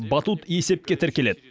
батут есепке тіркеледі